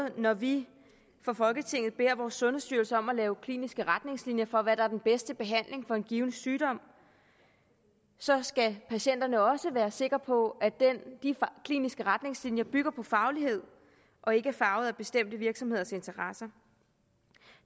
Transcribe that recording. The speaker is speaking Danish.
og når vi fra folketingets side beder sundhedsstyrelsen om at lave kliniske retningslinjer for hvad der er den bedste behandling for en given sygdom så skal patienterne også være sikre på at de kliniske retningslinjer bygger på faglighed og ikke er farvet af bestemte virksomheders interesser